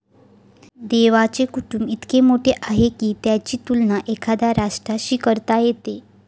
देवाचे कुटुंब इतके मोठे आहे की त्याची तुलना एखाद्या राष्ट्राशी करता येते.